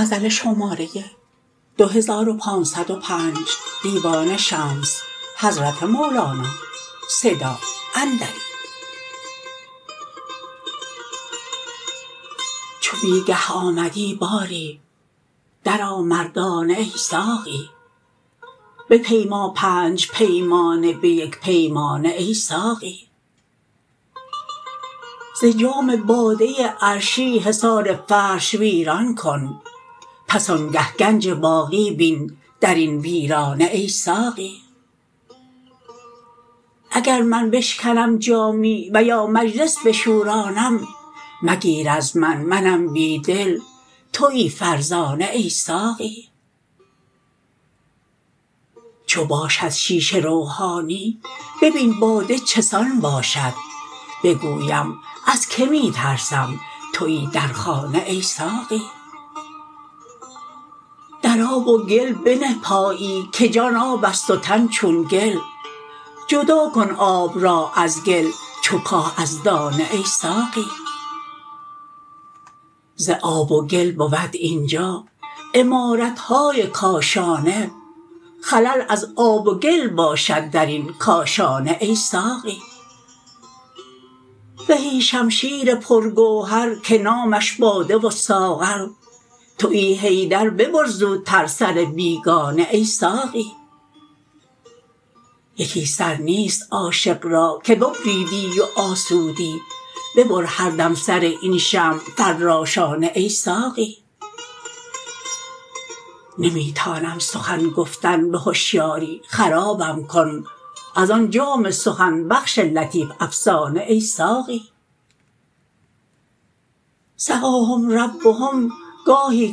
چو بی گه آمدی باری درآ مردانه ای ساقی بپیما پنج پیمانه به یک پیمانه ای ساقی ز جام باده عرشی حصار فرش ویران کن پس آنگه گنج باقی بین در این ویرانه ای ساقی اگر من بشکنم جامی و یا مجلس بشورانم مگیر از من منم بی دل توی فرزانه ای ساقی چو باشد شیشه روحانی ببین باده چه سان باشد بگویم از کی می ترسم توی در خانه ای ساقی در آب و گل بنه پایی که جان آب است و تن چون گل جدا کن آب را از گل چو کاه از دانه ای ساقی ز آب و گل بود این جا عمارت های کاشانه خلل از آب و گل باشد در این کاشانه ای ساقی زهی شمشیر پرگوهر که نامش باده و ساغر توی حیدر ببر زوتر سر بیگانه ای ساقی یکی سر نیست عاشق را که ببریدی و آسودی ببر هر دم سر این شمع فراشانه ای ساقی نمی تانم سخن گفتن به هشیاری خرابم کن از آن جام سخن بخش لطیف افسانه ای ساقی سقاهم ربهم گاهی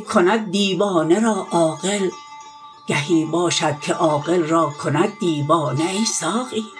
کند دیوانه را عاقل گهی باشد که عاقل را کند دیوانه ای ساقی